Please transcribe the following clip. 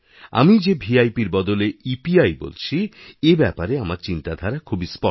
আমি যে ভিআইপির বদলে ইপিআই বলছি এ ব্যাপারে আমার চিন্তাধারা খুবইস্পষ্ট